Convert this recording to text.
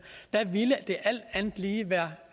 det ville alt andet lige være